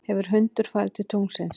hefur hundur farið til tunglsins